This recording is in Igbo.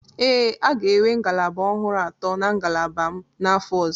Ee, a ga-enwe ngalaba ọhụrụ atọ na ngalaba m n'afọ ọzọ.